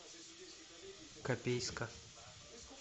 копейска